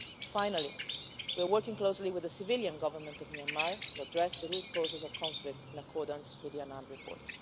Finally, we're working closely with the civilian Government of Myanmar to address the root causes of conflict in accordance with the Annan report.